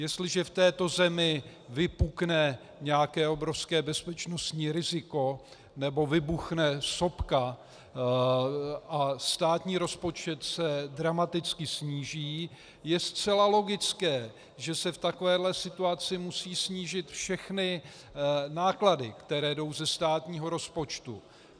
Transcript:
Jestliže v této zemi vypukne nějaké obrovské bezpečnostní riziko nebo vybuchne sopka a státní rozpočet se dramaticky sníží, je zcela logické, že se v takovéhle situaci musí snížit všechny náklady, které jdou ze státního rozpočtu.